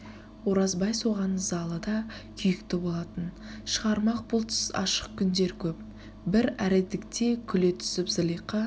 оразбай соған ызалы да күйікті болатын шағырмақ бұлтсыз ашық күндер көп бір әредікте күле түсіп зылиқа